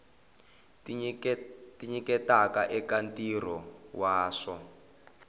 tinyiketaka eka ntirho wa swa